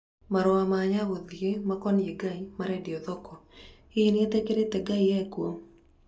Marũa ma Nyagũthiĩ makonĩe ngai marendio thoko, hihi nĩetĩkirĩe ngai ekuo?